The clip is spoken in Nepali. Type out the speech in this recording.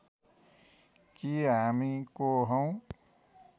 कि हामी को हौं